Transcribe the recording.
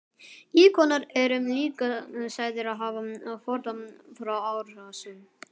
Íkonar eru líka sagðir hafa forðað frá árásum.